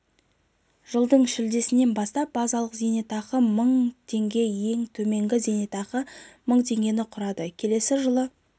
жылдың шілдесінен бастап базалық зейнетақы мың теңге ең төменгі зейнетақы мың теңгені құрады келесі жылы